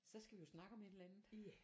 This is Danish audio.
Så skal vi jo snakke om et eller andet